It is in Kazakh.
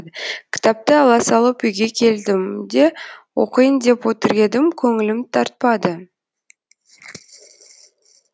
кітапты ала салып үйге келдім де оқиын деп отыр едім көңілім тартпады